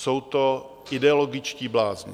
Jsou to ideologičtí blázni.